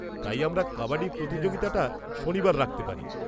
তাই, আমরা কাবাডি প্রতিযোগিতাটা শনিবার রাখতে পারি।